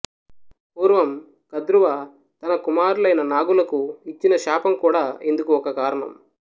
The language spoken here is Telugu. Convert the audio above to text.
పూర్వం కద్రువ తన కుమారులైన నాగులకు ఇచ్చిన శాపం కూడా ఇందుకు ఒక కారణం